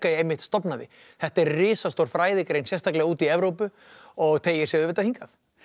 einmitt stofnaði þetta er risastór fræðigrein sérstaklega úti í Evrópu og teygir sig auðvitað hingað